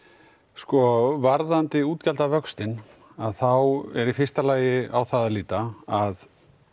sko varðandi útgjaldavöxtinn þá er það í fyrsta lagi á það að líta að